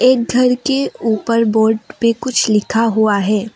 एक घर के ऊपर बोर्ड पे कुछ लिखा हुआ है।